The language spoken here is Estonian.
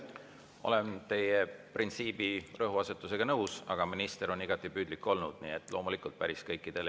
Olen teie printsiibi rõhuasetusega nõus, aga minister on igati püüdlik olnud, nii et loomulikult päris kõikidele …